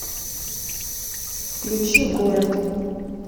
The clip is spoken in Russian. включи город